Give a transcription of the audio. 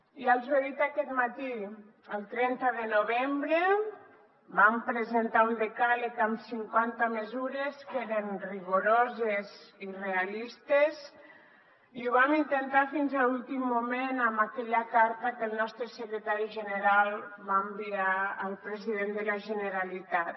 ja els ho he dit aquest matí el trenta de novembre vam presentar un decàleg amb cinquanta mesures que eren rigoroses i realistes i ho vam intentar fins a l’últim moment amb aquella carta que el nostre secretari general va enviar al president de la generalitat